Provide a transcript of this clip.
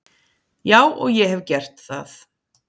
Já og ég hef gert það.